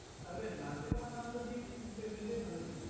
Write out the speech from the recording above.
তাহলে নাচে তোমার নাম টা দিয়ে দেয় তুমি তো এমনিও ভালো নাচ ও